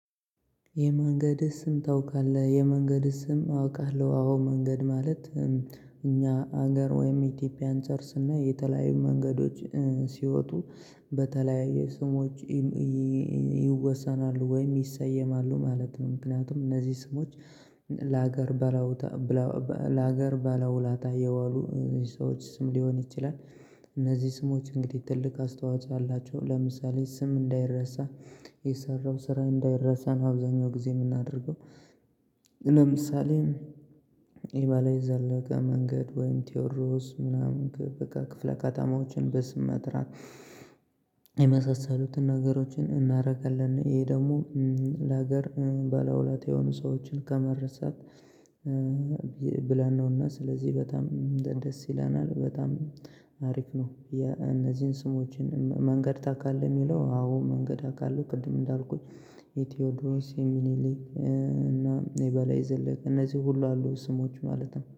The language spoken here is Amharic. የመንገድ ስም ታውቃለህ? የመንገድ ስም አውቃለሁ አዎ መንገድ ማለት። እኛ ሀገር ወይም ኢትዮጵያ አንፃር ስናይ እና የተለያዩ መንገዶች ሲወጡ በተለያየ ስሞች ይወሰናሉ ወይም ይሰየማሉ ማለት ነው። ምክንያቱም እነዚህ ስሞች ለሀገር ባለውለታ የዋሉ ሰዎች ስም ሊሆን ይችላል። እነዚህ ስሞች እንግዲህ ትልቅ አስተዋጽኦ አላቸው ለምሳሌ ስም እንዳይረሳ የሰራው ስራ እንዳይረሳ ነው። አብዛኛው ጊዜ ምናደርገው ለምሳሌ የበላይ ዘለቀ መንገድ ወይም ቴዎድሮስ ምናምን በቃ ክፍለ ከተማዎችን በስም መጥራት የመሳሰሉትን ነገሮችን እናደርጋለን። ይሄ ደግሞ ለሀገር ባለውለታ የሆኑ ሰዎችን ከመረሳት ብለን ነውና ስለዚህ በጣም ደስ ይለናል በጣም ሀሪፍ ነው። የነዚህን ስሞችን መንገድ ታውቃለህ? የሚለው አዎ መንገድ አውቃለሁ ቅድም እንዳልኩት የቴዎድሮስ የሚኒሊክ እና የበላይ ዘለቀ እነዚህ ሁሉ አሉ ስሞች ማለት ነው